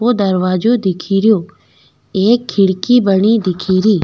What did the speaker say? बो दरवाजो दिखेरयो एक खिड़की बनी दिखेरी।